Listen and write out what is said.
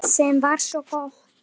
Sem var gott.